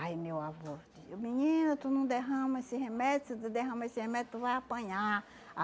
Aí meu avô dizia, menina, tu não derrama esse remédio, se tu derrama esse remédio tu vai apanhar.